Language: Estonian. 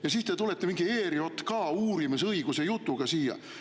Ja siis te tulete mingi ERJK uurimisõiguse jutuga siia.